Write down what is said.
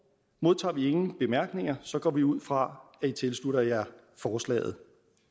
modtager vi ingen bemærkninger så går vi ud fra at i tilslutter jer forslaget